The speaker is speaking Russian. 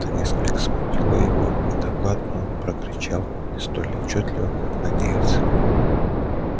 это несколько смутило его и доклад он прокричал не столь отчётливо как надеялся